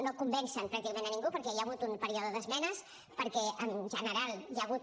no convencen pràcticament a ningú perquè hi ha hagut un període d’esmenes perquè en general hi ha hagut